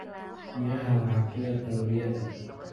Miraha waxaa ku yar kalooriyada.